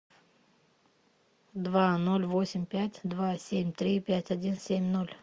два ноль восемь пять два семь три пять один семь ноль